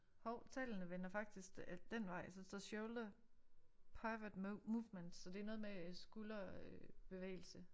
Hov tallene vender faktisk dén vej så der står shoulder pivot movement så det noget med skulder bevægelse